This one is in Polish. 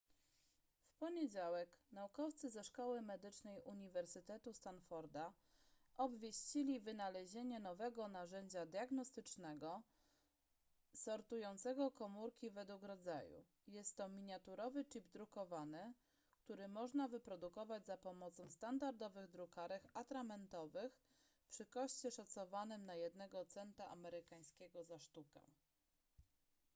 w poniedziałek naukowcy ze szkoły medycznej uniwersytetu stanforda obwieścili wynalezienie nowego narzędzia diagnostycznego sortującego komórki według rodzaju jest to miniaturowy chip drukowany który można wyprodukować za pomocą standardowych drukarek atramentowych przy koszcie szacowanym na jednego centa amerykańskiego za sztukę